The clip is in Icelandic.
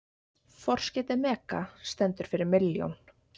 Forskeytið mega stendur fyrir milljón.